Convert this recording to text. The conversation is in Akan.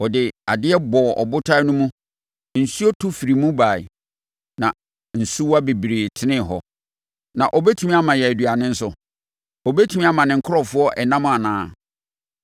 Ɔde adeɛ bɔɔ ɔbotan mu no, nsuo to firi mu baeɛ, na nsuwa bebree tenee hɔ. Na ɔbɛtumi ama yɛn aduane nso? Ɔbɛtumi ama ne nkurɔfoɔ ɛnam anaa?”